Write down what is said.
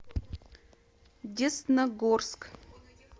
десногорск